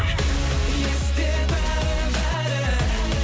есте бәрі бәрі